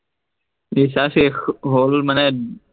recharge শেষ হল মানে, উম